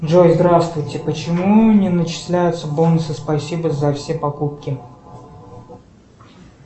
джой здравствуйте почему не начисляются бонусы спасибо за все покупки